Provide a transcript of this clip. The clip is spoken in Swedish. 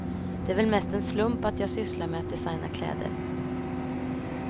Det är väl mest en slump att jag sysslar med att designa kläder.